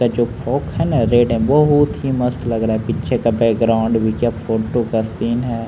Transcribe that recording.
का जो फ्रॉक है ना रेड है बहुत ही मस्त लग रहा है पीछे का बैक ग्राउंड भी क्या फोटो का सीन है।